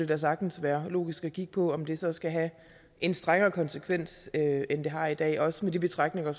da sagtens være logisk at kigge på om det så skulle have en strengere konsekvens end det har i dag også med de betragtninger